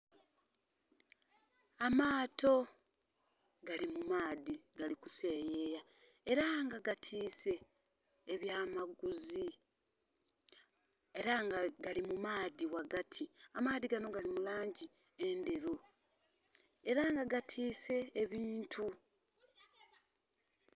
Amato agali mumaadhi gali kuseeyeya era nga gatise ebya maguzi era nga gali mumaadhi ghagati, amaadhi ganho gali mulangi endhelu era nga gatise ebintu.